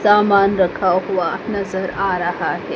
सामान रखा हुआ नजर आ रहा है।